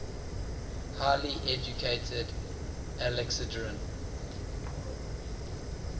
highly educated alexandrian